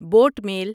boat mail